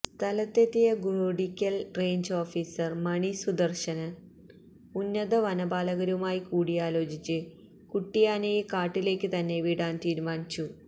സ്ഥലത്തെത്തിയ Goodrickal range officer Mani Sudarshan ഉന്നത വനപാലകരുമായി കൂടിയാലോചിച്ച് കുട്ടിയാനയെ കാട്ടിലേക്കു തന്നെ വിടാൻ തീരുമാനിച്ചു